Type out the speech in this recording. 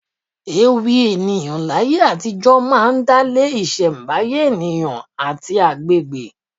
Ewì ènìyàn láyé àtijó máa ń dálé isembaye ènìyàn àti àgbègbè.